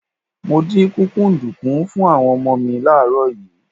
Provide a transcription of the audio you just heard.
Mo dín kúkúǹdùkú fún àwọn ọmọ mi láàárọ̀ yìí.